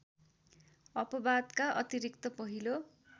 अपवादका अतिरिक्त पहिलो